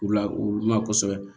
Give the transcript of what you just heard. U la u ma kosɛbɛ